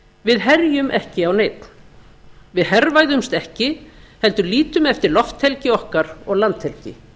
við herjum ekki á neinn við hervæðumst ekki heldur lítum eftir lofthelgi okkar og landhelgi